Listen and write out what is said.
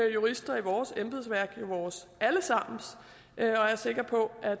jurister i vores embedsværk vores alle sammens og jeg er sikker på at